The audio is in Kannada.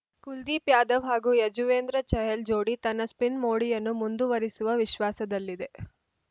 ಕುಲ್ದೀಪ್‌ ಯಾದವ್‌ ಹಾಗೂ ಯಜುವೇಂದ್ರ ಚಹಲ್‌ ಜೋಡಿ ತನ್ನ ಸ್ಪಿನ್‌ ಮೋಡಿಯನ್ನು ಮುಂದುವರಿಸುವ ವಿಶ್ವಾಸದಲ್ಲಿದೆ